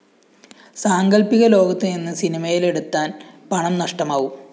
സാങ്കല്‍പ്പിക ലോകത്ത് നിന്ന് സിനിമയിലെടുത്താന്‍ പണം നഷ്ടമാവും